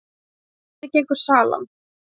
En hvernig gengur salan?